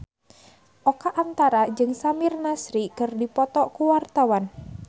Oka Antara jeung Samir Nasri keur dipoto ku wartawan